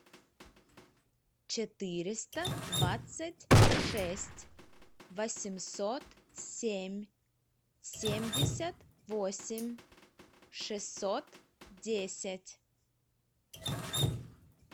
четыреста двадцать шесть восемьсот семь семьдесят восемь шестьсот десять